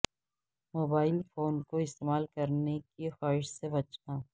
mobile phone کو استعمال کرنے کی خواہش سے بچنا